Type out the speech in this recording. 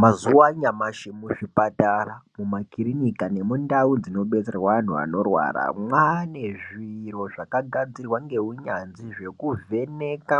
Mazuva anyamashi mu zvipatara muma kirinika nemu ndau dzino detserwa antu anorwara mwane zviro zvaka gadzirwa nge unyanzvi zveku vheneka